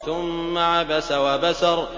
ثُمَّ عَبَسَ وَبَسَرَ